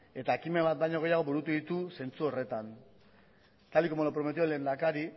eta ekimen bat baino gehiago burutu ditu zentzu horretan tal y como lo prometió el lehendakari